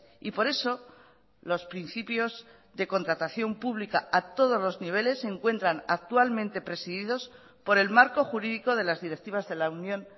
y por eso los principios de contratación pública a todos los niveles se encuentran actualmente presididos por el marco jurídico de las directivas de la unión